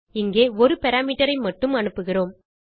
இங்கே ஒரு parameterஐ மட்டும் அனுப்புகிறோம்